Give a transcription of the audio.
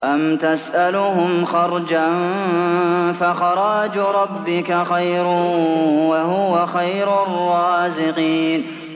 أَمْ تَسْأَلُهُمْ خَرْجًا فَخَرَاجُ رَبِّكَ خَيْرٌ ۖ وَهُوَ خَيْرُ الرَّازِقِينَ